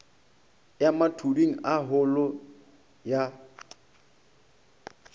ya mathuding a holo ya